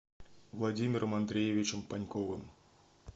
владимиром андреевичем паньковым